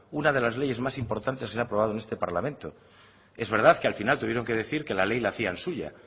una de las leyes más importantes que se ha aprobado en este parlamento es verdad que al final tuvieron que decir que la ley la hacían suya